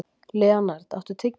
Leonhard, áttu tyggjó?